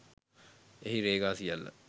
එහි රේඛා සියල්ල